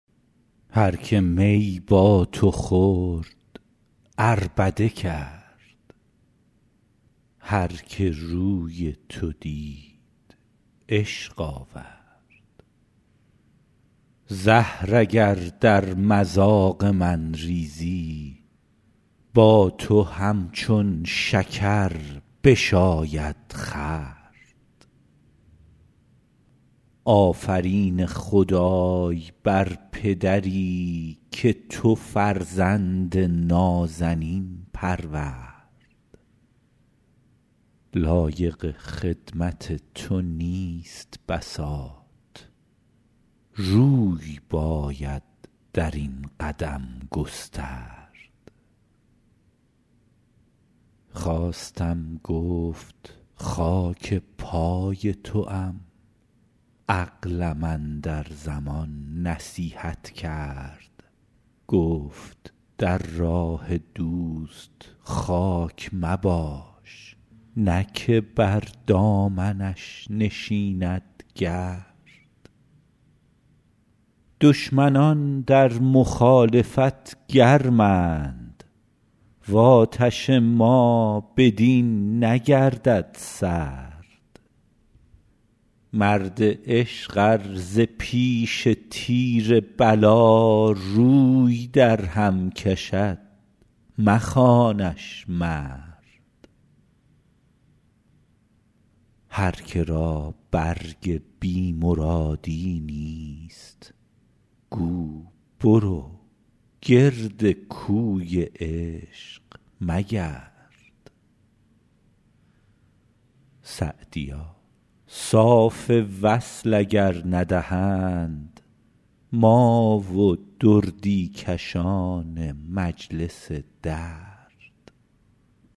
هر که می با تو خورد عربده کرد هر که روی تو دید عشق آورد زهر اگر در مذاق من ریزی با تو همچون شکر بشاید خورد آفرین خدای بر پدری که تو فرزند نازنین پرورد لایق خدمت تو نیست بساط روی باید در این قدم گسترد خواستم گفت خاک پای توام عقلم اندر زمان نصیحت کرد گفت در راه دوست خاک مباش نه که بر دامنش نشیند گرد دشمنان در مخالفت گرمند و آتش ما بدین نگردد سرد مرد عشق ار ز پیش تیر بلا روی درهم کشد مخوانش مرد هر که را برگ بی مرادی نیست گو برو گرد کوی عشق مگرد سعدیا صاف وصل اگر ندهند ما و دردی کشان مجلس درد